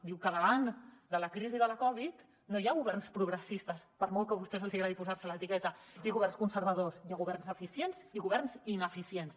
diu que davant de la crisi de la covid no hi ha governs progressistes per molt que a vostès els agradi posar se l’etiqueta i governs conservadors hi ha governs eficients i governs ineficients